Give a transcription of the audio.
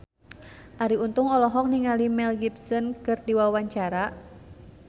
Arie Untung olohok ningali Mel Gibson keur diwawancara